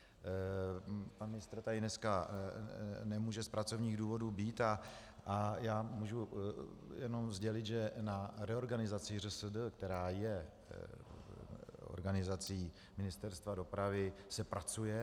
Pan ministr tady dneska nemůže z pracovních důvodů být a já můžu jenom sdělit, že na reorganizaci ŘSD, která je organizací Ministerstva dopravy, se pracuje.